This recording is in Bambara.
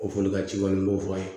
O foli ka ci kɔni m'o fɔ a ye